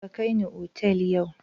Ka kai ni otal yau!